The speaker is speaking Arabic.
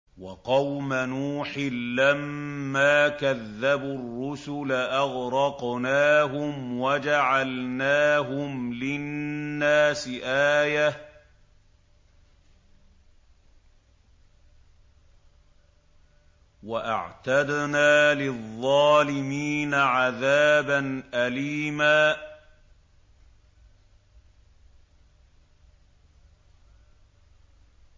وَقَوْمَ نُوحٍ لَّمَّا كَذَّبُوا الرُّسُلَ أَغْرَقْنَاهُمْ وَجَعَلْنَاهُمْ لِلنَّاسِ آيَةً ۖ وَأَعْتَدْنَا لِلظَّالِمِينَ عَذَابًا أَلِيمًا